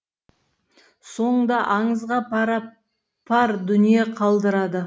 соңында аңызға пара пар дүние қалдырады